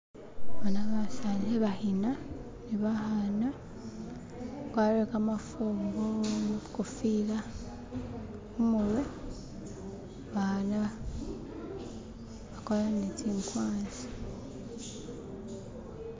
Boona basani khe bakhina ne bakhana, bakwarire kamafumbo khu kofila khumurwe, abaana bakwarire ne tsi nkwanzi.